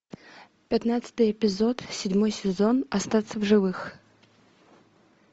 пятнадцатый эпизод седьмой сезон остаться в живых